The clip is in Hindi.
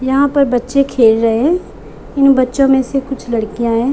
यहाँ पर बच्चे खेल रहें हैं इन बच्चो में से कुछ लड़कियाँ हैं।